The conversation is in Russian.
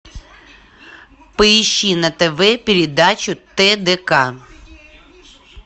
поищи на тв передачу тдк